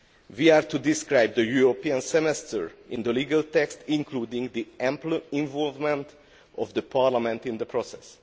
We are to describe the European semester in the legal text including the ample involvement of Parliament in the process.